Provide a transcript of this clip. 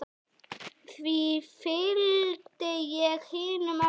Því fylgdi ég hinum eftir.